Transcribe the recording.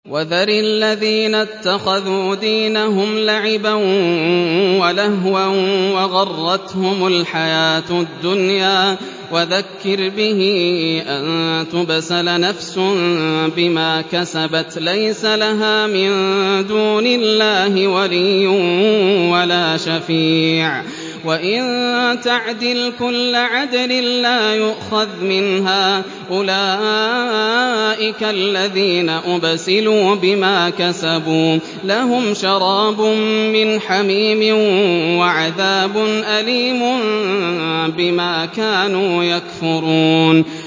وَذَرِ الَّذِينَ اتَّخَذُوا دِينَهُمْ لَعِبًا وَلَهْوًا وَغَرَّتْهُمُ الْحَيَاةُ الدُّنْيَا ۚ وَذَكِّرْ بِهِ أَن تُبْسَلَ نَفْسٌ بِمَا كَسَبَتْ لَيْسَ لَهَا مِن دُونِ اللَّهِ وَلِيٌّ وَلَا شَفِيعٌ وَإِن تَعْدِلْ كُلَّ عَدْلٍ لَّا يُؤْخَذْ مِنْهَا ۗ أُولَٰئِكَ الَّذِينَ أُبْسِلُوا بِمَا كَسَبُوا ۖ لَهُمْ شَرَابٌ مِّنْ حَمِيمٍ وَعَذَابٌ أَلِيمٌ بِمَا كَانُوا يَكْفُرُونَ